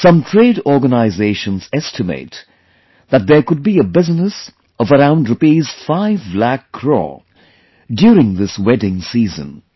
Some trade organizations estimate that there could be a business of around Rs 5 lakh croreduring this wedding season